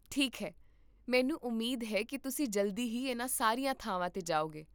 ਠੀਕ ਹੈ, ਮੈਨੂੰ ਉਮੀਦ ਹੈ ਕੀ ਤੁਸੀਂ ਜਲਦੀ ਹੀ ਇਹਨਾਂ ਸਾਰੀਆਂ ਥਾਵਾਂ 'ਤੇ ਜਾਓਗੇ